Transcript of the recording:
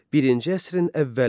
Birinci əsrin əvvəli.